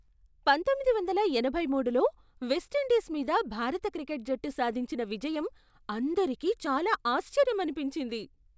పంతొమ్మిది వందల ఎనభై మూడులో వెస్టిండీస్ మీద భారత క్రికెట్ జట్టు సాధించిన విజయం అందరికీ చాలా ఆశ్చర్యమనిపించింది!